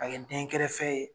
A kɛ den kɛrɛfɛ fɛ ye.